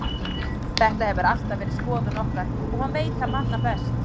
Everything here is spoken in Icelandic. Þetta hefur alltaf verið skoðun okkar og hann veit það manna best.